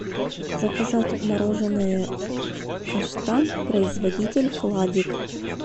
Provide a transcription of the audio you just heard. заказать мороженое каштан производитель хладик